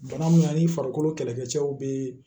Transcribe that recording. Bana mun ani farikolo kɛlɛkɛcɛw bɛ